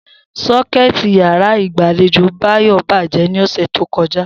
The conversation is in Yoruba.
So̩ké̩è̩tì yàrá ìgbàlejò Báyò̩ bàjé̩ ní ò̩sè̩ tó ko̩já